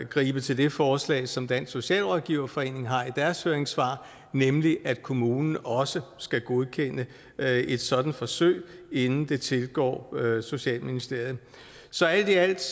gribe til det forslag som dansk socialrådgiverforening har i deres høringssvar nemlig at kommunen også skal godkende et sådant forsøg inden det tilgår socialministeriet så alt i alt